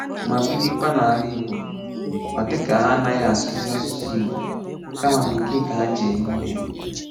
Ma birịkwa n’ala Ị̀gbò, ọ dị ka ha anaghị asụ̀zị asụsụ Ị̀gbò, kama Bekee ka ha ji eme ihe.